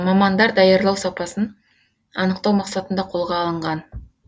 мамандар даярлау сапасын анықтау мақсатында қолға алынған